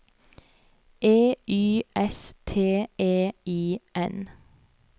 E Y S T E I N